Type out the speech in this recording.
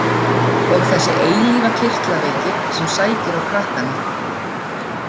Og þessi eilífa kirtlaveiki sem sækir á krakkana.